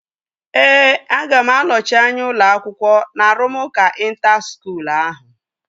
Ee, aga m anọchi anya ụlọ akwụkwọ na arụmụka ịnta skuul ahụ